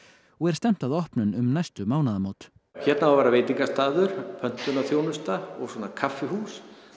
og er stefnt að opnun um næstu mánaðamót hérna á að vera veitingastaður og svona kaffihús